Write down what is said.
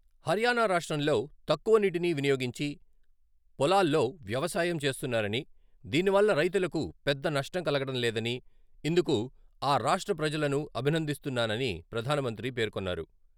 హర్యానా రాష్ట్రంలో తక్కువ నీటిని వినియోగించి పొలాల్లో వ్యవసాయం చేస్తున్నారని, దీని వల్ల రైతులకు పెద్ద నష్టం కలగడం లేదని, ఇందుకు ఆ రాష్ట్ర ప్రజలను అభినందిస్తున్నాని ప్రధానమంత్రి పేర్కొన్నారు.